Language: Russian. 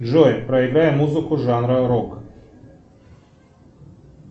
джой проиграй музыку жанра рок